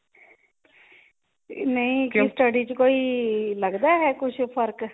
ਨਹੀਂ ਕਿਉਂ study ਚ ਕੋਈ ਲੱਗਦਾ ਹੈ ਕੁੱਝ ਫ਼ਰਕ